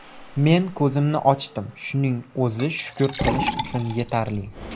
Men ko‘zimni ochdim, shuning o‘zi shukur qilish uchun yetarli.